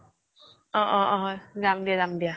অহ্' অহ্' অহ্ হয় যাম দিয়া যাম দিয়া